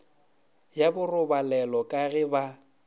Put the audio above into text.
ya borobalelo ka ge ba